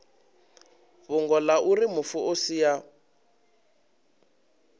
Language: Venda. fhungo auri mufu o sia